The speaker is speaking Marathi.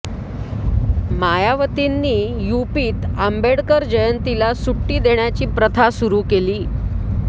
मायावतींनी यूपीत आंबेडकर जयंतीला सुट्टी देण्याची प्रथा सुरु केली